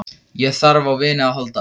Ég þarf á vini að halda.